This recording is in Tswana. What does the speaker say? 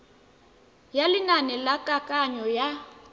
ya lenane la kananyo ya